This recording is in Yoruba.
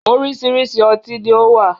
Oríṣiríṣi ọtí ni ó wà